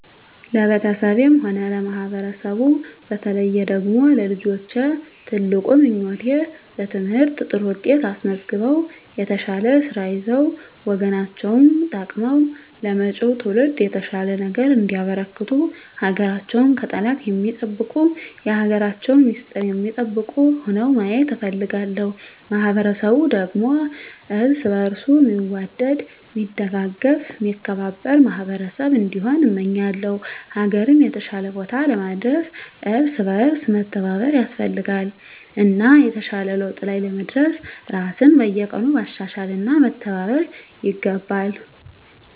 ለቤተሰቤም ሆነ ለማህበረሰቡ በተለየ ደግሞ ለልጆቼ ትልቁ ምኞቴ በትምህርት ጥሩ ውጤት አስመዝግበው የተሻለ ስራ ይዘው ሀገር ወገናቸውን ጠቅመው ለመጭው ትውልድ የተሻለ ነገር እንዲያበረክቱ ሀገራቸውን ከጠላት ሚጠብቁ የሀገራቸውን ሚስጥር ሚጠብቁ ሁነው ማየት እፈልጋለሁ። ማህበረሰቡ ደግሞ እርስ በእርሱ ሚዋደድ ሚደጋገፍ ሚከባበር ማህበረሰብ እንዲሆን እመኛለው። ሀገርን የተሻለ ቦታ ለማድረስ እርስ በእርስ መተባበር ያስፈልጋል እና የተሻለ ለውጥ ላይ ለመድረስ ራስን በየቀኑ ማሻሻል እና መተባበር ይገባል።